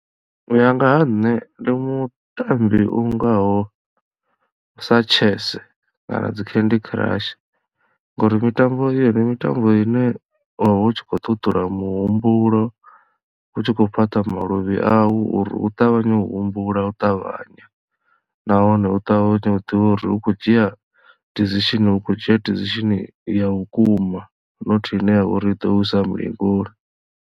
U ya nga ha nṋe ndi mutambi ungaho sa chess kana dzi candy crush ngori mitambo i yo ndi mitambo ine wavha u tshi kho ṱuṱula muhumbulo u tshi khou fhaṱha maluvhi au uri u ṱavhanye u humbula u ṱavhanya nahone u ṱavhanye u ḓivhe uri u khou dzhia decision u khou dzhia decision ya vhukuma nothi ine ya vha uri i ḓo u isa mulingoni.